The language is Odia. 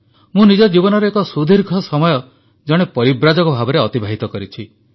ମୁଁ ନିଜ ଜୀବନର ଏକ ସୁଦୀର୍ଘ ସମୟ ଜଣେ ପରିବ୍ରାଜକ ଭାବରେ ଅତିବାହିତ କରିଛି